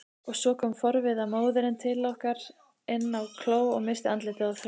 Og svo kom forviða móðirin til okkar inn á kló og missti andlitið á þröskuldinum.